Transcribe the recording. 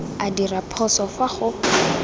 a dirwa phoso fa go